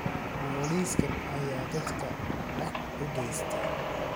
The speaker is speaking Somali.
Booliskan ayaa dadka dhac u geysta